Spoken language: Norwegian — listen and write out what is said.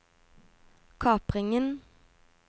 kapringen